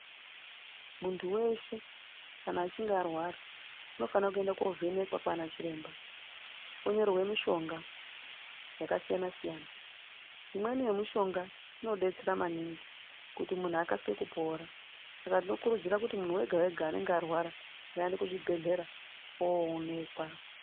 Muntu weshe kana achinge arwara, unofanire kuenda kovhenekwa kwana chiremba, onyorerwa mishonga yakasiyana-siyana. Imweni yemishonga inodetsera maningi kuti muntu akasike kupora. Saka tinokurudzira kuti muntu wega-wega anenge arwara ngaende kuzvibhedhlera owonekwa.